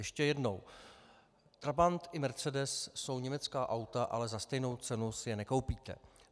Ještě jednou - trabant i mercedes jsou německá auta, ale za stejnou cenu si je nekoupíte.